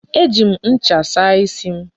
E ji m ncha saa isi m.